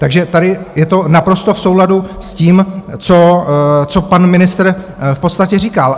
Takže tady je to naprosto v souladu s tím, co pan ministr v podstatě říkal.